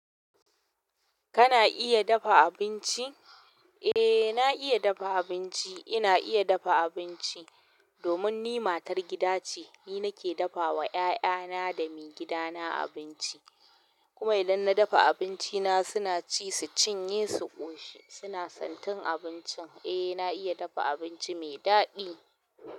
Kana iya dafa abinci? Eeh na iya dafa abinci. Ina iya dafa abinci domin ni matar gida ce, ni nake dafa wa 'ya'yana da maigidana abinci. Kuma idan na dafa abinci na suna ci su cinye su ƙoshi, suna santin abincin. Eh, na iya dafa abinci mai daɗi.